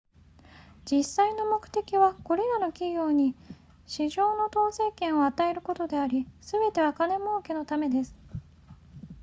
実際の目的はこれらの企業に市場の統制権を与えることでありすべては金儲けのためです